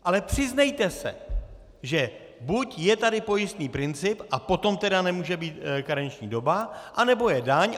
Ale přiznejte se, že buď je tady pojistný princip, a potom tedy nemůže být karenční doba, anebo je daň.